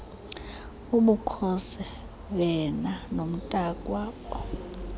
ubukhosi vena nomntakwabo